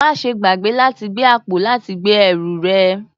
Máa ṣe gbàgbé láti gbé àpò láti gbé ẹrù rẹ